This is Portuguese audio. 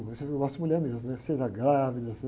que eu gosto de mulher mesmo, né? Seja grávida...